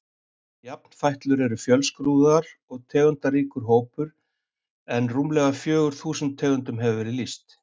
Jafnfætlur eru fjölskrúðugur og tegundaríkur hópur en rúmlega fjögur þúsund tegundum hefur verið lýst.